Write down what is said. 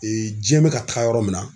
jiyɛn bɛ ka taga yɔrɔ min na